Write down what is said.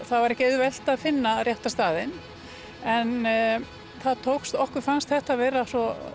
það var ekki auðvelt að finna rétta staðinn en okkur fannst þetta vera svo